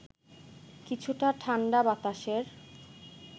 কিছুটা ঠাণ্ডা বাতাসের